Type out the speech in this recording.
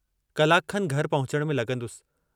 कलाक खनि घर पहुचण में लगन्दुसि।